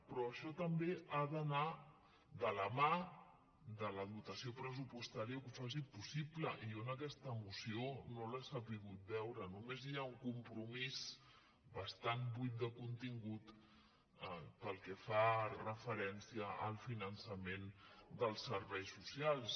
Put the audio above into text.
però això també ha d’anar de la mà de la dotació pres·supostària que ho faci possible i jo en aquesta moció no l’he sabut veure només hi ha un compromís bas·tant buit de contingut pel que fa referència al finança·ment dels serveis socials